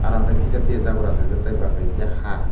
aro hwnkhe kisa tiya jabra achaijak tei badbaki hwnkhe haa.